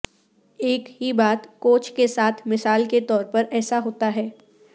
ایک ہی بات کوچ کے ساتھ مثال کے طور پر ایسا ہوتا ہے